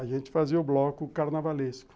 A gente fazia o bloco carnavalesco.